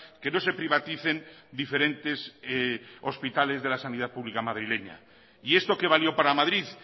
que no se privaticen diferentes hospitales de la sanidad pública madrileña y esto que valió para madrid